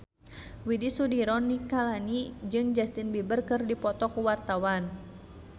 Widy Soediro Nichlany jeung Justin Beiber keur dipoto ku wartawan